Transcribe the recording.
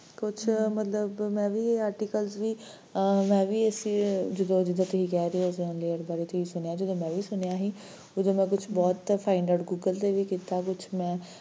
ਕੁਛ ਮਤਲਬ ਮੈਂ ਵੀ articles ਵੀ ਮੈਂ ਵੀ ਇਸੀ ਜਿੱਦਾਂ ਜਿੱਦਾਂ ਤੁਸੀਂ ਕਹਿ ਰਹੇ ਹੋ, ozone layer ਬਾਰੇ ਤੁਸੀਂ ਸੁਣਿਆ, ਜਦੋਂ ਮੈਂ ਵੀ ਸੁਣਿਆ ਸੀ ਓਦੋ ਮੈਂ ਕੁਛ ਬਹੁਤ ਕ find out google ਤੇ ਵੀ ਕੀਤਾ ਕੁਛ ਮੈਂ